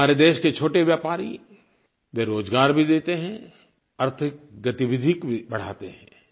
हमारे देश के छोटे व्यापारी वे रोजगार भी देते हैं आर्थिक गतिविधि भी बढ़ाते हैं